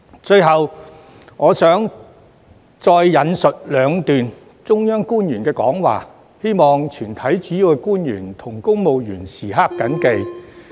最後我想再引述兩段中央官員的講話，希望全體主要官員和公務員時刻謹記。